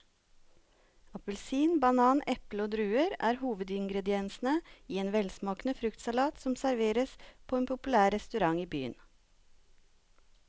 Appelsin, banan, eple og druer er hovedingredienser i en velsmakende fruktsalat som serveres på en populær restaurant i byen.